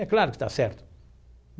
É claro que está certo.